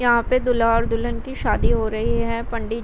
यहाँ पर दूल्हा और दुल्हन की शादी हो रही है पंडित --